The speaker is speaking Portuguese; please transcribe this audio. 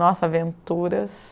Nossa, aventuras!